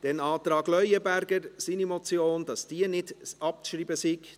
Wir kommen zum Antrag Leuenberger, wonach seine Motion nicht abzuschreiben sei.